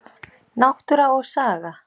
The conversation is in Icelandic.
Náttúra og saga.